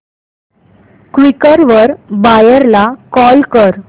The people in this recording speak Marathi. क्वीकर वर बायर ला कॉल कर